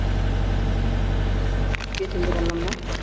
কে চিনতে পারলাম না